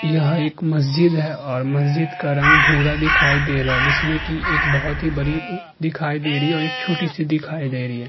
यह एक मस्जिद है और मस्जिद का रंग भूरा दिखाई दे रहा है जिसमें की एक बहोत ही बड़ी दिखाई दे रही है और एक छोटी सी दिखाई दे रही है।